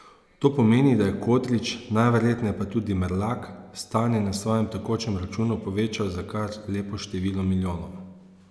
To pomeni, da je Kodrič, najverjetneje pa tudi Merlak, stanje na svojem tekočem računu povečal za kar lepo število milijonov.